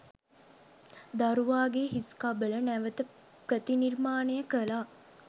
දරුවාගේ හිස්කබල නැවත ප්‍රතිනිර්මාණය කළා.